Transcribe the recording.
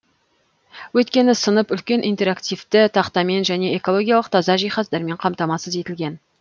өйткені сынып үлкен интерактивті тақтамен және экологиялық таза жиһаздармен қамтамасыз етілген